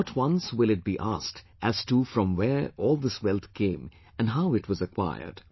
Not once will it be asked as to from where all this wealth came and how it was acquired